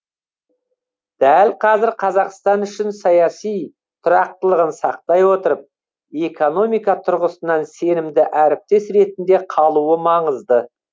дәл қазір қазақстан үшін саяси тұрақтылығын сақтай отырып экономика тұрғысынан сенімді әріптес ретінде қалуы маңызды